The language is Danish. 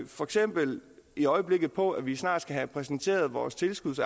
for eksempel i øjeblikket på at vi snart skal præsentere vores tilskuds